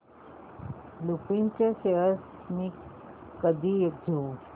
लुपिन चे शेअर्स मी कधी घेऊ